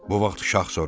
Bu vaxt Şah soruşur: